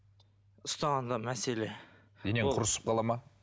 ұстағанда мәселе денең құрысып қала ма